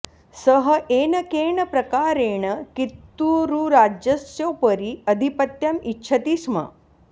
सः येन केन प्रकारेण कित्तूरुराज्यस्योपरि आधिपत्यम् इच्छति स्म